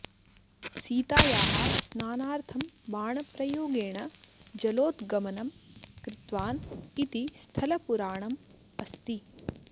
सीतायाः स्नानार्थं बाणप्रयोगेण जलोद्गमनम् कृतवान् इति स्थलपुराणम् अस्ति